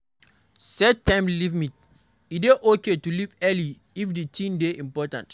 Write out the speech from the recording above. Set time limit, e dey okay to leave early if the thing dey important